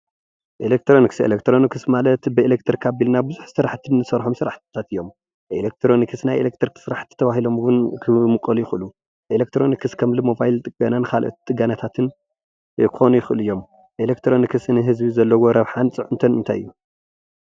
ኤሌክትሮኒክስ ኤሌክትሮኒክስ ማለት ብኤሌትርክ ኣብልና ብዙሕ ስራሕ ንስርሐሎም ስርሓትታት እዮም። ኤሌትሮኒክስ ናይ ኤሌትርክ ስራሕቲ ተባህሎም እውን ክምቀሉ ይክእሉ። ኤሌትሮኒክስ ሞባይል ጥገናታትን ካሊእ ጥገናታትን ክኮኑ ይክእሉ እዮም። ኤሌትሮኒክስ ንህዝቢ ዘለዎ ረብሓን ፅዕንቶን እንታይ እዩ?